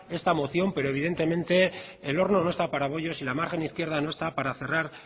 esta moción pero evidentemente el horno no está para bollos y la margen izquierda no está para cerrar